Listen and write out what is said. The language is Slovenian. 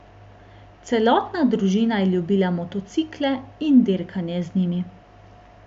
Celotna družina je ljubila motocikle in dirkanje z njimi.